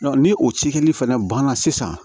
ni o cikɛli fɛnɛ banna sisan